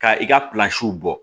Ka i ka bɔ